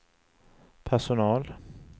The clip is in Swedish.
personal